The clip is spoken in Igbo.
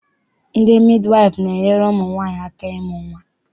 Ndị midiwaịfụ na-enyere ụmụ nwaanyị aka ịmụ nnwa.